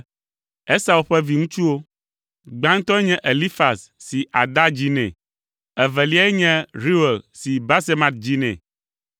Esau ƒe viŋutsuwo: gbãtɔe nye Elifaz si Ada dzi nɛ, eveliae nye Reuel si Basemat dzi nɛ.